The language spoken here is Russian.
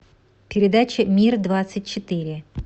передача мир двадцать четыре